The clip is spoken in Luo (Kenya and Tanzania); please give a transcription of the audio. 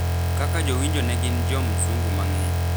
kaka jowinjo ne gin jo mzungu mang’eny.